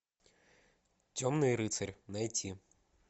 темный рыцарь найти